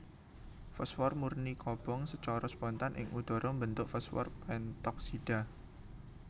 Fosfor murni kobong sacara spontan ing udhara mbentuk fosfor pentoksida